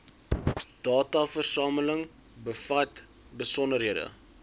dataversameling bevat besonderhede